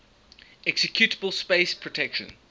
executable space protection